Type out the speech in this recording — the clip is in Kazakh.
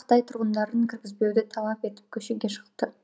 қытай тұрғындарын кіргізбеуді талап етіп көшеге шықты